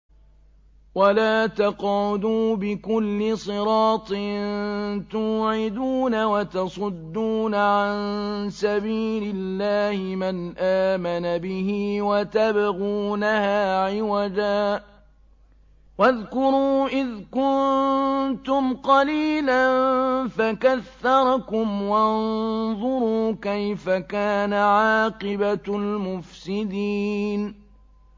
وَلَا تَقْعُدُوا بِكُلِّ صِرَاطٍ تُوعِدُونَ وَتَصُدُّونَ عَن سَبِيلِ اللَّهِ مَنْ آمَنَ بِهِ وَتَبْغُونَهَا عِوَجًا ۚ وَاذْكُرُوا إِذْ كُنتُمْ قَلِيلًا فَكَثَّرَكُمْ ۖ وَانظُرُوا كَيْفَ كَانَ عَاقِبَةُ الْمُفْسِدِينَ